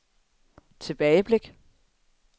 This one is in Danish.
tilbageblik